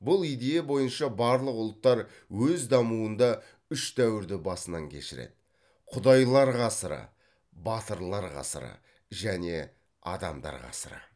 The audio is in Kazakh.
бұл идея бойынша барлық ұлттар өз дамуында үш дәуірді басынан кешіреді құдайлар ғасыры батырлар ғасыры және адамдар ғасыры